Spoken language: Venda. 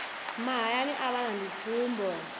mahaya a vhana ndi tsumbo